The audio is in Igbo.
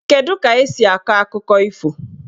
Kedu ka esi akọ akụkọ ifo?